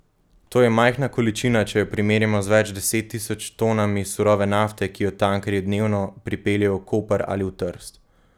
To je majhna količina, če jo primerjamo z več deset tisoč tonami surove nafte, ki jo tankerji dnevno pripeljejo v Koper ali v Trst.